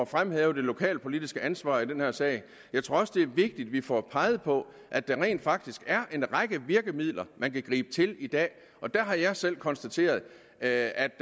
fremhævet det lokalpolitiske ansvar i den her sag jeg tror også det er vigtigt at vi får peget på at der rent faktisk er en række virkemidler man kan gribe til i dag og der har jeg selv konstateret at